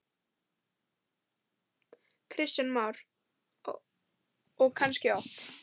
Kristján Már: Og kannski oft?